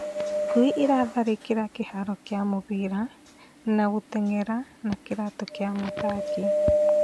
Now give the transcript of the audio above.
Ngui irathari͂ki͂ra ki͂haro ki͂a mu͂bira na gu͂tenge’era na ki͂raatu͂ ki͂a mu͂thaki,